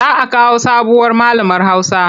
Za a kawo sabuwar malamar Hausa.